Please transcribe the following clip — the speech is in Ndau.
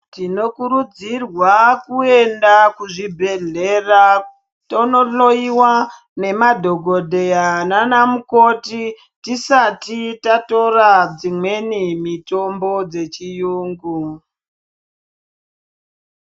Tinokurudzirwa kuenda kuzvibhehleya tonohloyiwa nemadhokodheya nanamukoti tisati tatora dzimweni mitombo dzechiyungu.